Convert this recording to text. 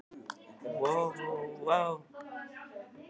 Örn þessu leyndu fyrir okkur Jónsa?